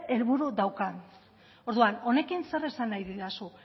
helburu daukan orduan honekin zer esan nahi didazu